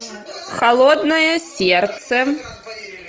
холодное сердце